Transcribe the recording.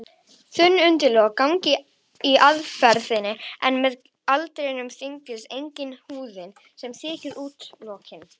Þunn augnlok ganga í erfðir en með aldrinum þynnist einnig húðin sem þekur augnlokin.